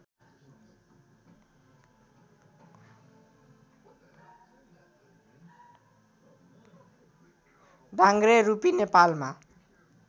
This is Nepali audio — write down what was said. डाङ्ग्रे रूपी नेपालमा